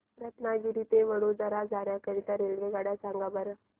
रत्नागिरी ते वडोदरा जाण्या करीता रेल्वेगाड्या सांगा बरं